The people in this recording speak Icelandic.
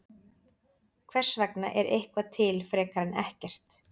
Hvers vegna er eitthvað til frekar en ekkert?